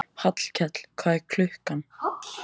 Hallkell, hvað er klukkan?